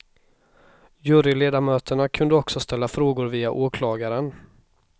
Juryledamöterna kunde också ställa frågor via åklagaren.